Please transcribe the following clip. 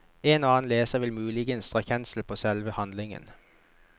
En og annen leser vil muligens dra kjensel på selve handlingen.